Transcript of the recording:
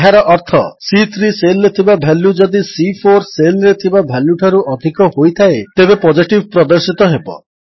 ଏହାର ଅର୍ଥ ସି3 ସେଲ୍ ରେ ଥିବା ଭାଲ୍ୟୁ ଯଦି ସି4 ସେଲ୍ ରେ ଥିବା ଭାଲ୍ୟୁଠାରୁ ଅଧିକ ହୋଇଥାଏ ତେବେ ପୋଜିଟିଭ୍ ପ୍ରଦର୍ଶିତ ହେବ